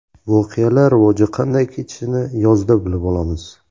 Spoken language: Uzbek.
Voqealar rivoji qanday kechishini yozda bilib olamiz.